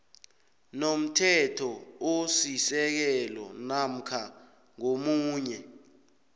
nomthethosisekelo namkha ngomunye